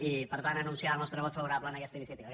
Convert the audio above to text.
i per tant anunciar el nostre vot favorable a aquesta iniciativa